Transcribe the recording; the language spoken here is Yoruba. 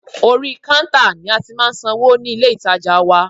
Orí kántà ni a ti máà ń san owó ní ilé ìtajà ńlá.